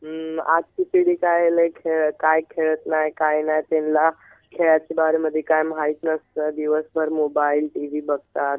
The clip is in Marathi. हम्म आजची पिढी काय लयी खेळ काय खेळात नाय काय नाय तीनला खेळायच्या बारेमध्ये काय माहित नसत. दिवसभर मोबाईल, टीव्ही बघतात.